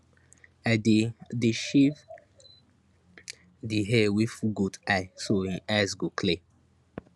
i dey dey shave di hair wey full goat eye so hin eyes go clear